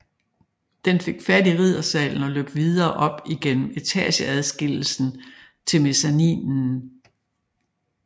Den fik fat i Riddersalen og løb videre op igennem etageadskillelsen til mezzaninen